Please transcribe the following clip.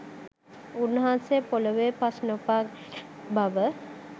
උන්වහන්සෙ පොලොවෙ පස් නොපාගන බව